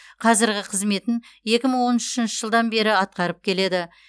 қазіргі қызметін екі мың он үшінші жылдан бері атқарып келеді